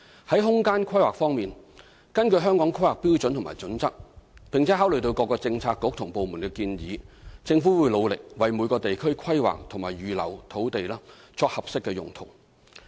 在空間規劃方面，根據《香港規劃標準與準則》，並考慮各政策局和部門的建議，政府會努力為每個地區規劃及預留土地作合適用途。